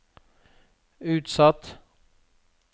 utsatt